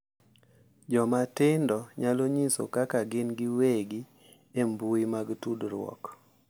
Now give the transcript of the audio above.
Joma tindo nyalo nyiso kaka gin giwegi e mbui mag tudruok